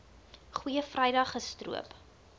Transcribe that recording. goeie vrydag gestroop